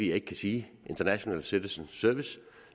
jeg ikke kan sige international citizen service